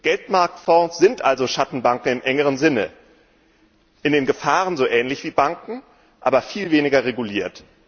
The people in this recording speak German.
Geldmarktfonds sind also Schattenbanken im engeren Sinne in den Gefahren so ähnlich wie Banken, aber viel weniger reguliert.